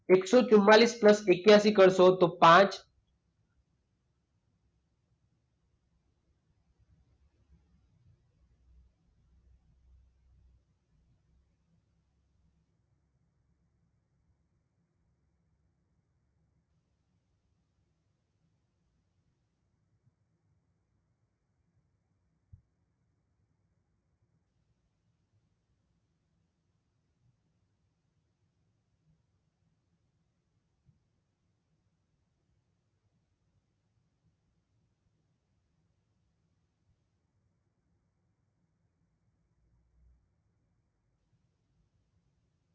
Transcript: એકસો ચુંમાળીસ પ્લસ એકયાંશી કરશો તો પાંચ.